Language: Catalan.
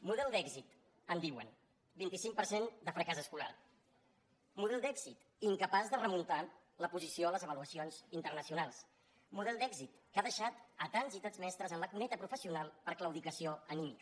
model d’èxit en diuen vint cinc per cent de fracàs escolar model d’èxit incapaç de remuntar la posició a les avaluacions internacionals model d’èxit que ha deixat tants i tants mestres a la cuneta professional per claudicació anímica